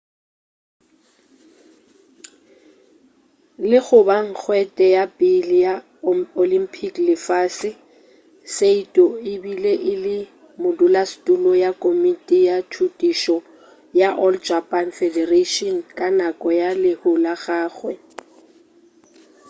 le go ba nkgwete ya pele ya olympic le lefase saito e be e le modulasetulo ya komiti ya thutišo ya all japan federation ka nako ya lehu la gagwe